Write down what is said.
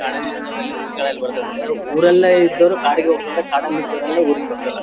ಕಾಡಲ್ಲಿ ಇದ್ದವಲ್ಲಿ ಊರಿಗ್ ಬರ್ತವೆ ಊರಲ್ಲೇ ಇದ್ದವರು ಕಾಡಗ್ ಬರ್ತಾರೆ ಕಾಡಲ್ಲ ಇದ್ದವರ ಊರಿಗ್ ಬರ್ತರ .